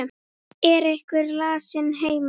Er einhver lasinn heima?